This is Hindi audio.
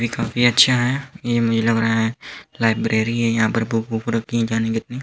यह काफी अच्छा है ये मैला भरा है लाइब्रेरी है यहाँ पर बुक वुक रखी हुई है जाने कितनी।